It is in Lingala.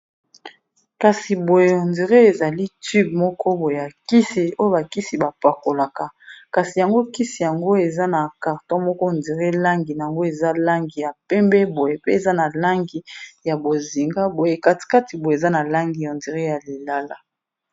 kasi boye hondire ezali tube moko boye ya kisi oyo bakisi bapakolaka kasi yango kisi yango eza na karton moko hondire langi yango eza langi ya pembe boye pe eza na langi ya bozinga boye katikati boye eza na langi hondire ya lilala